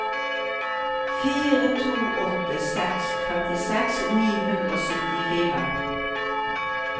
fire to åtte seks femtiseks ni hundre og syttifire